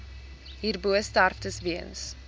hierbo sterftes weens